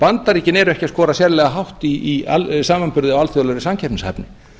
bandaríkin eru ekki að skora sérlega hátt í samanburði á alþjóðlegri samkeppnishæfni